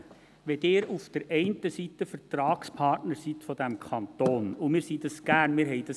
Wenn Sie einerseits Vertragspartner dieses Kantons sind – und wir sind dies gern, wir wollten dies;